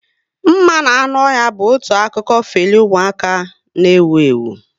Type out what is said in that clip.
Mma na anụ ọhịa bụ otu akụkọ feli umuaka n'ewu ewu